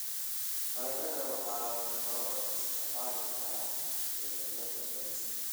Baradhada waxaa loo isticmaali karaa beddelka bariiska.